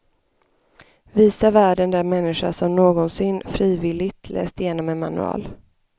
Visa världen den människa som någonsin, frivilligt, läst igenom en manual.